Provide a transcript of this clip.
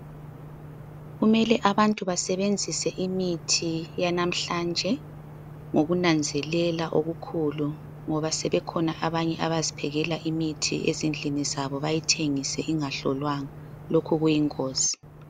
Kumele abantu basebenzise imithi yanamhlanje ngokunanzelela okukhulu ngoba sebekhona abanye abaziphekela imithi ezindlini zabo bayithengisa ingahlolwanga. Lokhu kuyingozi.